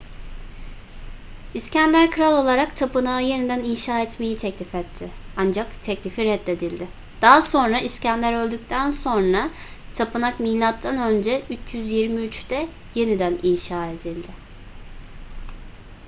i̇skender kral olarak tapınağı yeniden inşa etmeyi teklif etti ancak teklifi reddedildi. daha sonra i̇skender öldükten sonra tapınak m.ö. 323'te yeniden inşa edildi